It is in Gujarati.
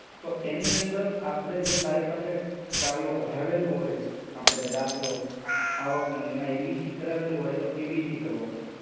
તો એની અંદર આપણે જો તારી પાસે, તે ઓલું કઢાવેલું હોય, આપણે દાખલો, આવકો ને ને એમાં EBC કરાવેલું હોય તો EBC લખવાનું.